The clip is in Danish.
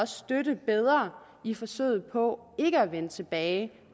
støtte bedre i forsøget på ikke at vende tilbage